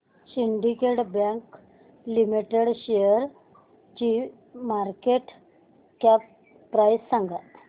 Syndicate bank limited शेअरची market cap price सांगा